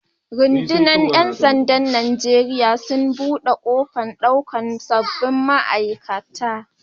Rudunar Yan sanda'n Nijeriya sun bude kofar daukan sabobin ma'aikata.